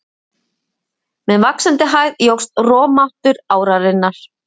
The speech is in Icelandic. Með vaxandi hæð jókst rofmáttur árinnar.